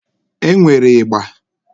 E nwere ịgba.